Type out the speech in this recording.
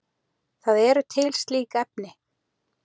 Það eru til slík efni.